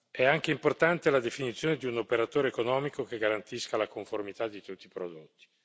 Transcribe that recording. è anche importante la definizione di un operatore economico che garantisca la conformità di tutti i prodotti.